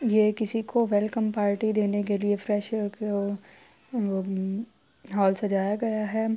یہ کسی کو ویلکم پارٹی دینے کے لئے فریشر کو حال سجایا گیا ہے۔